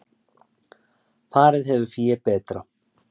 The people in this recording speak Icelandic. Farið hefur fé betra